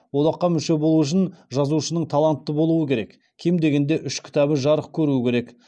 одаққа мүше болу үшін жазушының талантты болуы керек кем дегенде үш кітабы жарық көруі керек